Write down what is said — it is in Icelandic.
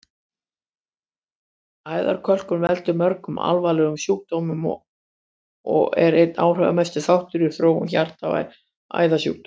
Æðakölkun veldur mörgum alvarlegum sjúkdómum og er einn áhrifamesti þáttur í þróun hjarta- og æðasjúkdóma.